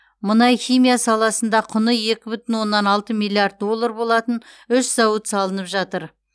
мұнай химия саласында құны екі бүтін оннан алты миллиард доллар болатын үш зауыт салынып жатыр